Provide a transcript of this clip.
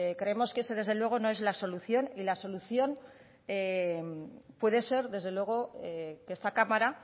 creemos que eso desde luego no es la solución y la solución puede ser desde luego que esta cámara